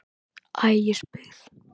Ægisbyggð